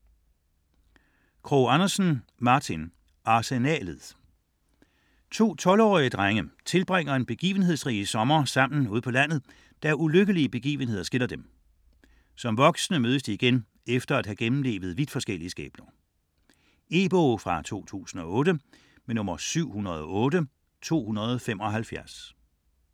Krogh Andersen, Martin: Arsenalet To tolvårige drenge tilbringer en begivenhedsrig sommer sammen ude på landet, da ulykkelige begivenheder skiller dem. Som voksne mødes de igen efter at have gennemlevet vidt forskellige skæbner. E-bog 708275 2008.